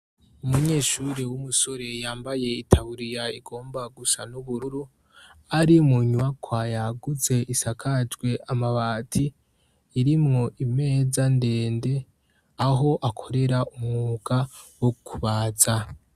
Umunyeshuri w'umusore yambaye itaburiya igomba gusa n'ubururu ari mu nyubakwa yagutse isakajwe amabati irimwo imeza ndende aho akorera umwuga wo kubaza .